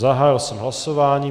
Zahájil jsem hlasování.